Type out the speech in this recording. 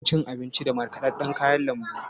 Ki riƙa cin abinji da markaɗaɗɗan kayan lambu!